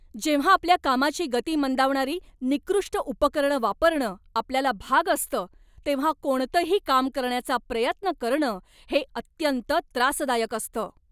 जेव्हा आपल्या कामाची गती मंदावणारी निकृष्ट उपकरणं वापरणं आपल्याला भाग असतं, तेव्हा कोणतंही काम करण्याचा प्रयत्न करणं हे अत्यंत त्रासदायक असतं.